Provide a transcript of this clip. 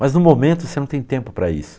Mas no momento você não tem tempo para isso.